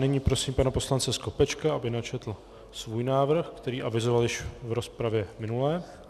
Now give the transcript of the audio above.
Nyní prosím pana poslance Skopečka, aby načetl svůj návrh, který avizoval již v rozpravě minulé.